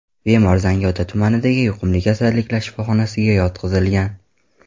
Bemor Zangiota tumanidagi yuqumli kasalliklar shifoxonasiga yotqizilgan.